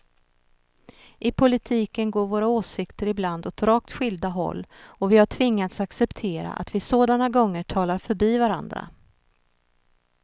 I politiken går våra åsikter ibland åt rakt skilda håll och vi har tvingats acceptera att vi sådana gånger talar förbi varandra.